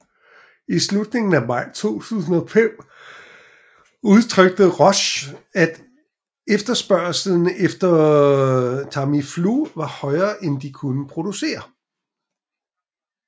I slutningen af maj 2005 udtrykte Roche at efterspørgslen efter Tamiflu var højere end de kunne producere